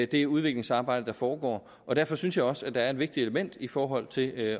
det udviklingsarbejde der foregår og derfor synes jeg også at der er et vigtigt element i forhold til at